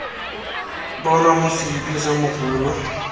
bonwa mo seliping sa mogolo